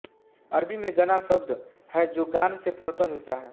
अरबी में गना शब्द है जो गान से पूर्णतः मिलता है